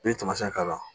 N'i ye tamasiyɛn k'a la